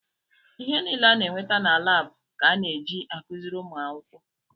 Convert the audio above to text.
Ihe niile a na-enweta na laabụ ka a na-eji akụziri ụmụ akwụkwọ.